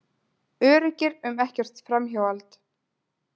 Öruggir um ekkert framhald.